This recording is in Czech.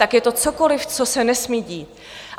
Tak je to cokoliv, co se nesmí dít?